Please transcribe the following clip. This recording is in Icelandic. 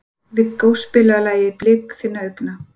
Viggó, spilaðu lagið „Blik þinna augna“.